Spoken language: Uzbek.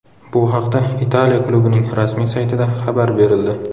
Bu haqda Italiya klubining rasmiy saytida xabar berildi .